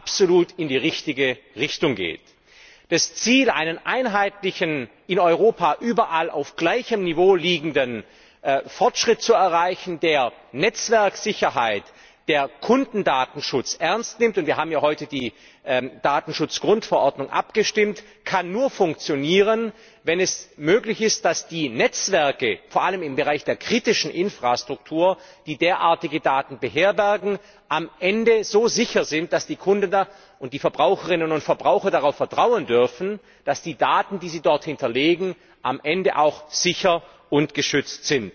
absolut in die richtige Richtung geht. Das Ziel, einen einheitlichen, in Europa überall auf gleichem Niveau liegenden Fortschritt zu erreichen, bei dem die Netzwerksicherheit, der Kundendatenschutz ernst genommen werden wir haben ja heute über die Datenschutzgrundverordnung abgestimmt kann nur funktionieren, wenn es möglich ist, dass die Netzwerke, vor allem im Bereich der kritischen Infrastruktur, die derartige Daten beherbergen, am Ende so sicher sind, dass die Kunden und die Verbraucherinnen und Verbraucher darauf vertrauen dürfen, dass die Daten, die sie dort hinterlegen, am Ende auch sicher und geschützt sind.